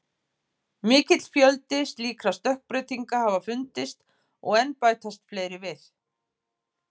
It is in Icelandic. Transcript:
Mikill fjöldi slíkra stökkbreytinga hafa fundist og enn bætast fleiri við.